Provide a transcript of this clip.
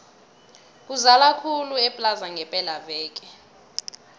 kuzala khulu eplaza ngepela veke